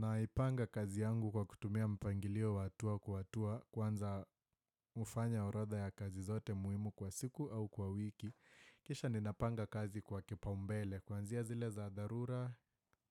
Na ipanga kazi yangu kwa kutumia mpangilio wa hatua kwa hatua kwanza hufanya oradha ya kazi zote muhimu kwa siku au kwa wiki. Kisha ninapanga kazi kwa kipau mbele. Kuanzia zile za dharura